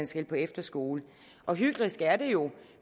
skal på efterskole og hyklerisk er det jo